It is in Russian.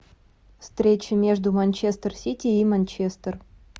встреча между манчестер сити и манчестер